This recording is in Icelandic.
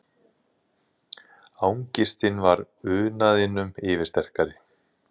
Angistin var unaðinum yfirsterkari.